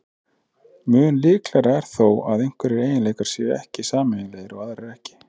Mun líklegra er þó að einhverjir eiginleikar séu sameiginlegir og aðrir ekki.